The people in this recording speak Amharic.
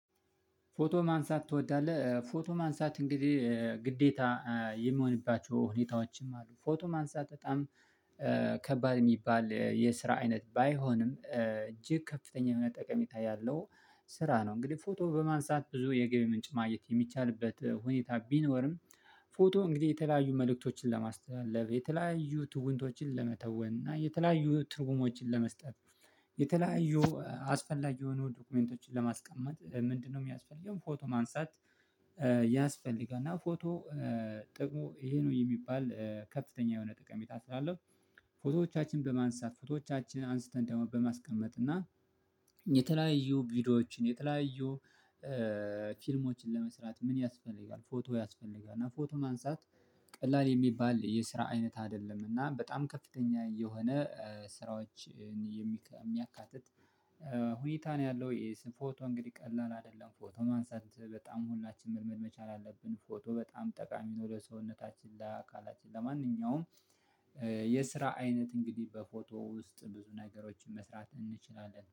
ፎቶ ማንሳት ትወዳለህ? ፎቶ ማንሳት እንግዲህ ግዴታ የሚሆንባቸው ሁኔታዎችም አሉ ፎቶ ማንሳት በጣም ከባድ እሚባል የስራ አይነት ባይሆንም እጅግ ከፍተኛ ጠቀሜታ ያለው ስራ ነው። እንግዲህ ፎቶ በማንሳት ብዙ የገቢ ምንጭ ማግኘት የሚቻልበት ሁኔታ ቢኖርም ፎቶ እንግዲህ የተለያዩ መልእክቶችን ለማስተላለፍ የተለያዩ ትውንቶችን ለመተወን እና የተለያዩ ትርጉሞችን ለመስጠት። የተለያዩ አስፈላጊ የሆኑ ዶክመንቶችን ለማስቀመጥ ምንድነው እሚያስፈልገው ፎቶ ማንሳት? ያስፈልጋል እና ፎቶ ጥቅሙ ይሄ ነው የሚባል ከፍተኛ የሆነ ጥቀሜታ ስላለው። ፎቶዎቻችን በማንሳት ፎቶዎቻችን አንስተን ደግሞ በማስቀመጥ እና ቪዲዮዎችን የተለያዩ ፊልሞችን ለመስራት ምን ያስፈልጋል? ፎቶ ያስፈልጋል እና ፎቶ ማንሳት ቀላል የሚባል የስራ አይነት አይደለም። እና በጣም ከፍተኛ የሆነ ስራዎችን የሚያካትት ሁኔታ ነው ያለው። ፎቶ እንግዲህ ቀላል አይደለም። ፎቶ ማንሳት በጣም ሁላችንም መቻል አለብን። ፎቶ በጣም ጠቃሚ ወደ ሰውነታችን ለአካላችን ለማንኛውም የስራ አይነት እንግዲህ በፎቶ ውስጥ ብዙ ነገሮችን መስራት እንችላለን